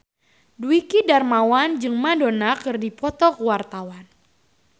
Dwiki Darmawan jeung Madonna keur dipoto ku wartawan